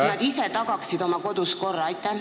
Nad ise peaksid oma kodus korra tagama.